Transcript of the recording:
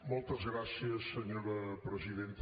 moltes gràcies senyora presidenta